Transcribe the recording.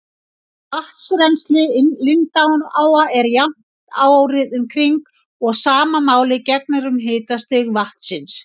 Vatnsrennsli lindáa er jafnt árið um kring og sama máli gegnir um hitastig vatnsins.